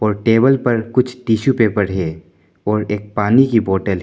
और टेबल पर कुछ टीसू पेपर हैं और एक पानी की बॉटल है।